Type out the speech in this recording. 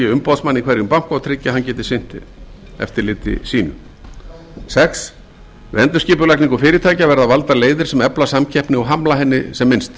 í hverjum banka og tryggi að hann geti sinnt eftirliti sínu sjötta við endurskipulagningu fyrirtækja verði valdar leiðir sem efla samkeppni og hamla henni sem minnst